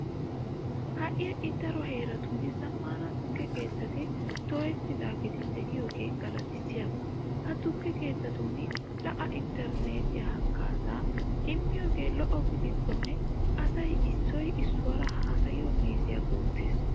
Ha"i ha"i daro heeratun zammaana tukke keettati dooyettiiddi de'iyogee galatissiyaba. Ha tukke keettatun la"a intterneetiya haggaazaa immiyogee lo"o gidikkonne asay issoy issuwara haasayiyo meeziya guuttees.